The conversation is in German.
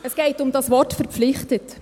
Es geht um das Wort «verpflichtet».